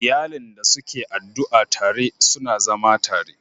Iyalin da suke addu'a tare, suna zama tare